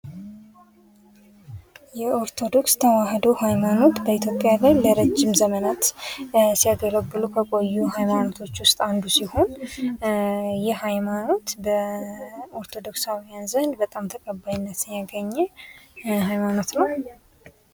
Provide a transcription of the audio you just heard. የኦርቶዶክስ ተዋህዶ ሃይማኖት በኢትዮጵያ ላይ ለረጅም ዘመናት ሲያገለገሉ ከቆዩ ሃይማኖቶች ውስጥ አንዱ ሲሆን ይህ ሃይማኖት በኦርቶዶክሳውያን ዘንድ በጣም ተቀባይነት ያገኘ ሀይማኖት ነው ።